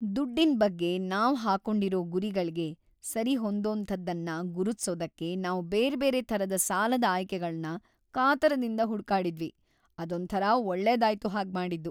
ದುಡ್ಡಿನ್‌ ಬಗ್ಗೆ ನಾವ್‌ ಹಾಕೊಂಡಿರೋ ಗುರಿಗಳ್ಗೆ ಸರಿಹೊಂದೋಂಥದ್ದನ್ನ ಗುರುತ್ಸೋದಕ್ಕೆ ನಾವು ಬೇರ್ಬೇರೆ ಥರದ ಸಾಲದ ಆಯ್ಕೆಗಳ್ನ ಕಾತರದಿಂದ ಹುಡುಕಾಡಿದ್ವಿ.. ಅದೊಂಥರ ಒಳ್ಳೆದಾಯ್ತು ಹಾಗ್ಮಾಡಿದ್ದು.